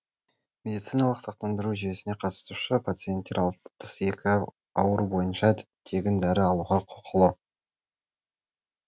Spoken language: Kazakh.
медициналық сақтандыру жүйесіне қатысушы пациенттер алпыс екі ауру бойынша тегін дәрі алуға құқылы